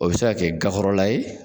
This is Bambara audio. O bɛ se ka kɛ gakɔrɔla ye.